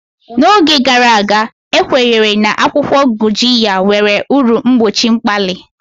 N'oge gara aga, a kwenyere na akwụkwọ Gurjiya nwere uru mgbochi mkpali.